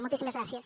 moltíssimes gràcies